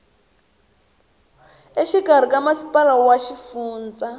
exikarhi ka masipala wa xifundza